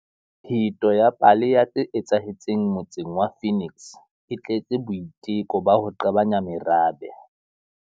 Pheto ya pale ya tse etsahetseng motseng wa Phoenix e tletse boiteko ba ho qabanya merabe.